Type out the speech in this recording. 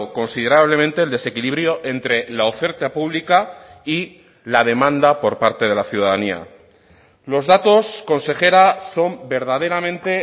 considerablemente el desequilibrio entre la oferta pública y la demanda por parte de la ciudadanía los datos consejera son verdaderamente